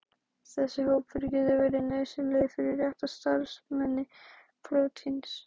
Þessir hópar geta verið nauðsynlegir fyrir rétta starfsemi prótíns.